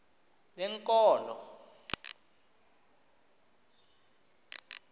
lenkolo